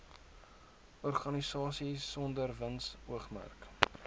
organisasies sonder winsoogmerk